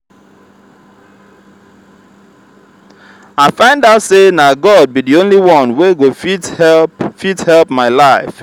i find out say na god be the only one wey go fit help fit help my life